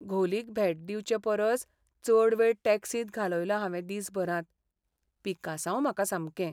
घोलीक भेट दिवचेपरस चड वेळ टॅक्सींत घालयलो हांवें दीसभरांत. पिकासांव म्हाका सामकें.